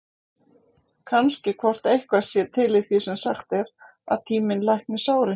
Kannski hvort eitthvað sé til í því sem sagt er, að tíminn lækni sárin?